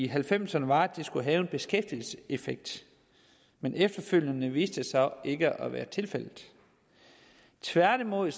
halvfemserne var at det skulle have en beskæftigelseseffekt men efterfølgende viste det sig ikke at være tilfældet tværtimod